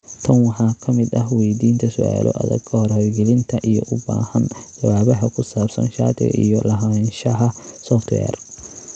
Tan waxaa ka mid ah weydiinta su'aalo adag ka hor hirgelinta, iyo u baahan jawaabaha ku saabsan shatiga iyo lahaanshaha software.